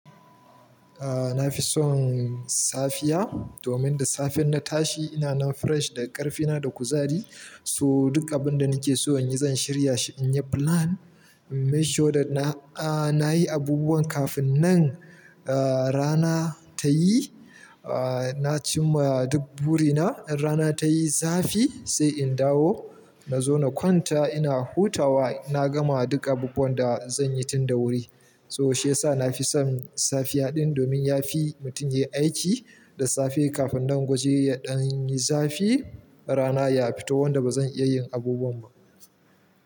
A nafi son safiya domin da safe in na tashi ina nan fresh da ƙarfina da kuzari. So duk abin da nake so inyi, zan shirya shi. Inyi plan, in make sure that na, ah, nayi abubuwan kafin nan, ah, rana tayi. Ah, naci ma duk buri na. In rana tayi zafi sai in dawo na ƙwanta ina hutawa. Na gama duk abubuwan da zan yi tun da wuri. So shiyasa nafi son safiya din domin yafi mutum yayi aiki da safe kafin nan wajen ya ɗanyi zafi rana ya fito wanda bazan iya yin abubuwan ba.